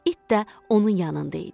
İt də onun yanında idi.